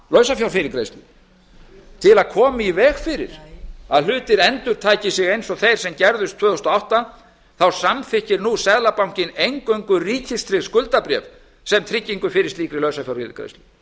lausafjárfyrirgreiðslu til að koma í veg fyrir að hlutir endurtaki sig eins og þeir sem gerðust tvö þúsund og átta þá samþykkir nú seðlabankinn eingöngu ríkistryggð skuldabréf sem tryggingu fyrir slíkri lausafjárniðurgreiðslu og